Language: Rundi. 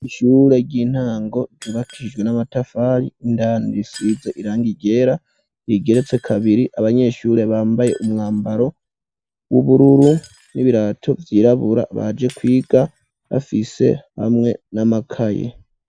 Ishure ry'intango ryubakijwe n'amatafari indani risize irangi ryera, igeretse kabiri abanyeshure bambaye umwambaro w'ubururu n'ibirato vyirabura baje kwiga bafise hamwe n'amakaye.